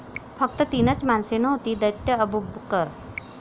फक्त तीनच माणसे नव्हती दैत्य अबूबकर.